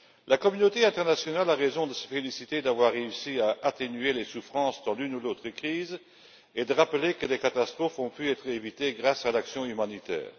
La communauté internationale a raison de se féliciter d'avoir réussi à atténuer les souffrances dans l'une ou l'autre crise et de rappeler que des catastrophes ont pu être évitées grâce à l'action humanitaire.